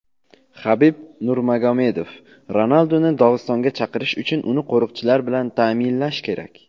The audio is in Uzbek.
Habib Nurmagomedov: Ronalduni Dog‘istonga chaqirish uchun uni qo‘riqchilar bilan ta’minlash kerak.